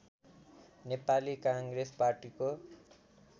नेपाली काङ्ग्रेस पार्टीको